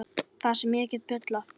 Það sem ég get bullað.